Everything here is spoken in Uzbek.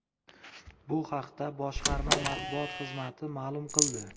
Bu haqda boshqarma matbuot xizmati ma’lum qildi .